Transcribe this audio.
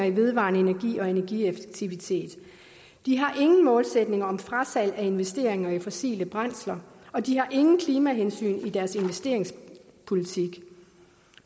i vedvarende energi og energieffektivitet de har ingen målsætning om frasalg af investeringer i fossile brændsler og de har ingen klimahensyn i deres investeringspolitik